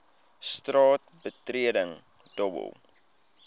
straat betreding dobbel